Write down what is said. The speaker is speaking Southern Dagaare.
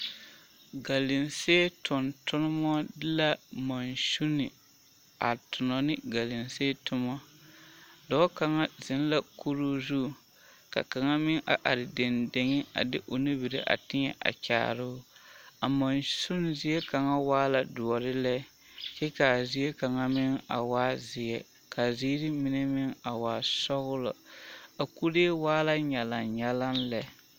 Galamsee tontonma de la mansune a tonna ne a galamsee toma dɔɔ kaŋa zeŋ la kuruu zu ka kaŋa meŋ a are deŋ deŋ a de o nubiri a teɛ kyaare o a mansune zie kaŋa waa la doɔre lɛ kyɛ ka a zie kaŋa meŋ a waa zeɛ ka a ziiri mine meŋ waa sɔglɔ a kuree waa la nyalaŋnyalaŋ lɛ.